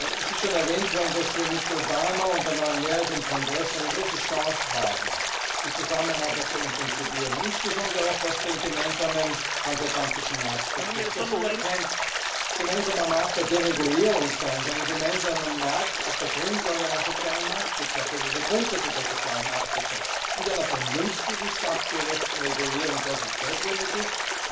Es ist schon erwähnt worden, dass wir mit Obama und mit der neuen Mehrheit im Kongress eine große Chance haben, die Zusammenarbeit zu intensivieren, insbesondere auch was den gemeinsamen transatlantischen Markt betrifft. Der soll ja kein gemeinsamer Markt der Deregulierung sein, sondern ein gemeinsamer Markt auf der Grundlage oder den Grundsätzen einer sozialen Marktwirtschaft, mit einer vernünftigen, sachgerechten Regulierung, dort wo sie notwendig ist.